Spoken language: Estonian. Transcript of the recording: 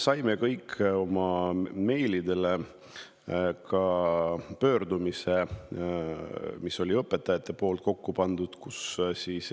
Me kõik saime meili peale pöördumise, mille on kokku pannud õpetajad.